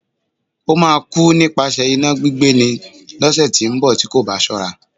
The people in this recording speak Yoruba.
Ó máa kú nípasẹ̀ iná gbígbé ni, lọ́sẹ̀ tí ó ń bọ̀ tí kò bá ṣọ́ra.